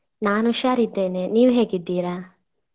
ನಾನ್ ಹುಷಾರ್ ಇದ್ದೇನೆ ನೀವ್ ಹೇಗಿದ್ದೀರಾ ?